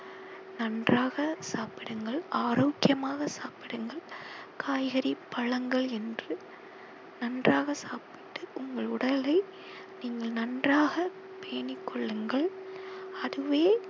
நன்றாக சாப்பிடுங்கள் ஆரோக்கியமாக சாப்பிடுங்கள் காய்கறி பழங்கள் என்று நன்றாக சாப்பிட்டு உங்கள் உடலை நீங்கள் நன்றாக பேணிக் கொள்ளுங்கள் அதுவே